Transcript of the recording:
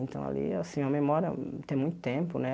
Então, ali, assim, a memória... Tem muito tempo, né?